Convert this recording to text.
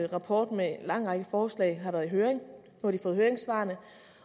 rapport med en lang række forslag har været i høring nu har de fået høringssvarene